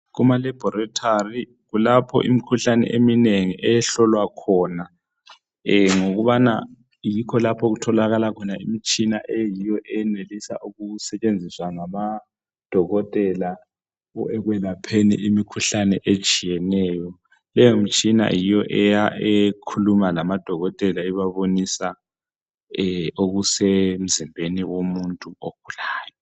KumaLaboratory kulapho imikhuhlane eminengi ehlolwa khona ngokubana yikho lapho okutholakala khona imitshina eyiyo eyenelisa ukusebenziswa ngamadokotela ekwelapheni imikhuhlane etshiyeneyo leyo mtshina yiyo ekhuluma lamadokotela ibabonisa okusemzimbeni womuntu ogulayo